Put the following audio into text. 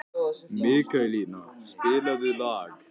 Mikaelína, spilaðu lag.